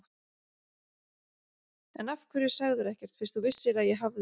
En af hverju sagðirðu ekkert fyrst þú vissir að ég hafði.